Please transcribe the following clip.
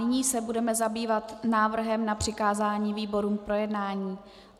Nyní se budeme zabývat návrhem na přikázání výborům k projednání.